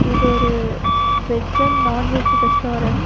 இது ஒரு veg and non veg restaurant .